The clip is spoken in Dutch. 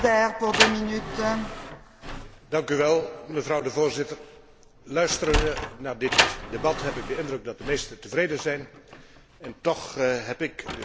Voorzitter, luisterend naar dit debat, heb ik de indruk dat de meesten tevreden zijn, en toch heb ik de sterke indruk dat het een mager pakket is.